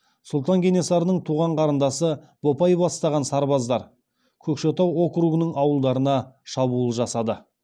сұлтан кенесарының туған қарындасы бопай бастаған сарбаздар көкшетау округының ауылдарына шабуыл жасады